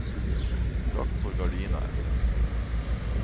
Trakk for gardina etter en stund.